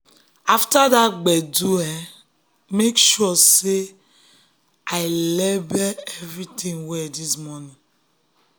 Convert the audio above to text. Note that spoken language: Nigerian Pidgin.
after that gbege i make sure say i um label everything well this morning.